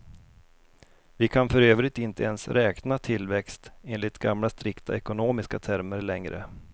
Vi kan för övrigt inte ens räkna tillväxt enligt gamla strikta ekonomiska termer längre.